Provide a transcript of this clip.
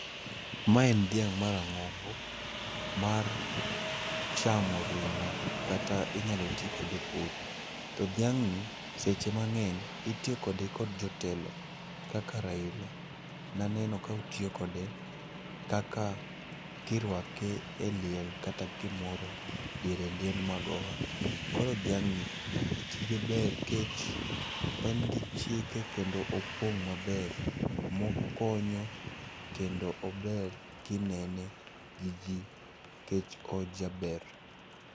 Ma en dhiang' marang'ongo mar chamo ring'o kata inyalo ti kode e pur. To dhiang'ni seche mang'eny itiyo kode kod jotelo, kaka Raila naneno ka otiyo kode kaka kirwake e liel kata gimoro diere liend Magoha. Koro dhiang'ni, tije ber kech en gi chike kendo opong' maber, mokonyo kendo ober kinene gi ji ,kech ojaber.